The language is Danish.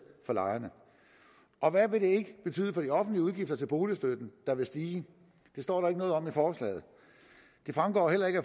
for lejerne og hvad vil det betyde for de offentlige udgifter til boligstøtten der vil stige det står der ikke noget om i forslaget det fremgår heller ikke